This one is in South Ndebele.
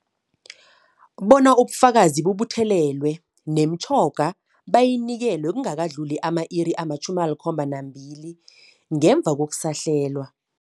Bona ubufakazi bubuthelelwe, nemitjhoga bayinikelwe kungakadluli ama-iri ama-72 ngemva kokusahlelwa.